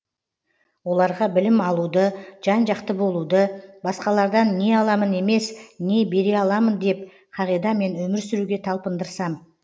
оларға білім алуыды жан жақты болуды басқалардан не аламын емес не бере аламын деп қағидамен өмір сүруге талпындырсам